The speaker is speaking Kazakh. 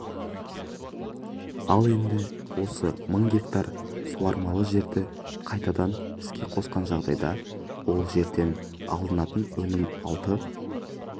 ал енді осы мың гектар суармалы жерді қайтадан іске қосқан жағдайда ол жерден алынатын өнім алты